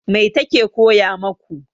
Mai ta ke koya maku?